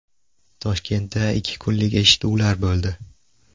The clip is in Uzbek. Toshkentda ikki kunlik eshituvlar bo‘ldi.